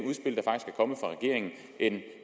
kommet fra regeringen end